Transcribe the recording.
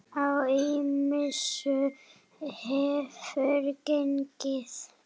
Á ýmsu hefur gengið.